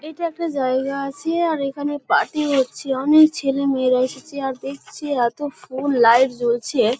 এটা একটা জায়গা আছে। আর এখানে পার্টি হচ্ছে। অনেক ছেলেমেয়েরা এসেছে আর দেখছি এতো ফুল লাইট জ্বলছে ।